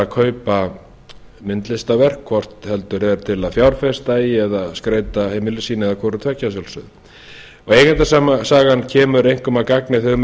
kaupa myndlistarverk hvort heldur er til að fjárfesta í eða skreyta heimili sín eða hvoru tveggja að sjálfsögðu eigendasagan kemur einkum að gagni þegar um er